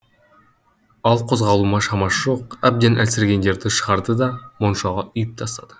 ал қозғалуға шамасы жоқ әбден әлсірегендерді шығарды да моншаға үйіп тастады